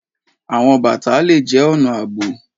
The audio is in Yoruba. Awọn bata le jẹ ọna aabo.